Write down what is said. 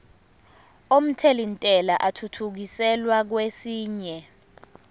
omthelintela athuthukiselwa kwesinye